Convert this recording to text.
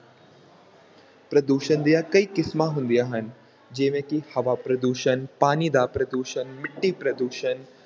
ਪ੍ਰਦੂਸ਼ਣ ਦੀਆਂ ਕਈ ਕਿਸਮਾਂ ਹੁੰਦੀਆਂ ਹਨ, ਜਿਵੇਂ ਕਿ ਹਵਾ ਪ੍ਰਦੂਸ਼ਣ, ਪਾਣੀ ਦਾ ਪ੍ਰਦੂਸ਼ਣ, ਮਿੱਟੀ ਪ੍ਰਦੂਸ਼ਣ,